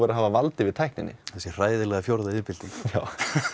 að hafa vald yfir tækninni þessi hræðilega fjórða iðnbylting já